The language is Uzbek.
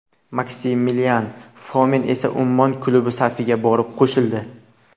Maksimilian Fomin esa Ummon klubi safiga borib qo‘shildi .